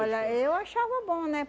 eu achava bom, né?